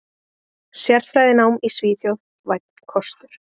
Sérfræðinám í Svíþjóð: Vænn kostur.